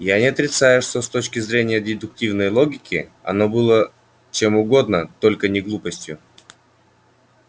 я не отрицаю что с точки зрения дедуктивной логики оно было чем угодно только не глупостью